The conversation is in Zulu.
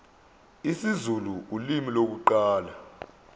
isizulu ulimi lokuqala